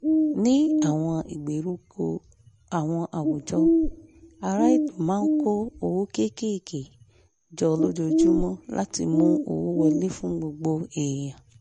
ní àwọn ìgbèríko àwọn àwùjọ aráàlú máa ń kó owó kékeré jọ lójoojúmọ́ láti mú owó wọlé fún gbogbo èèyàn